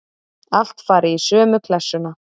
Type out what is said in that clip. Allt fari í sömu klessuna.